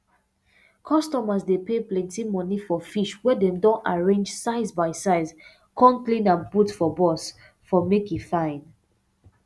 customers dey pay plenty money for fish wey dem don arrange size by size come clean am put for box um make e fine